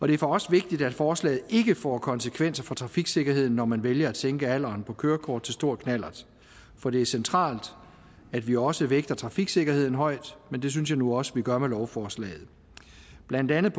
det er for os vigtigt at forslaget ikke får konsekvenser for trafiksikkerheden når man vælger at sænke alderen kørekort til stor knallert for det er centralt at vi også vægter trafiksikkerheden højt men det synes jeg nu også vi gør med lovforslaget blandt andet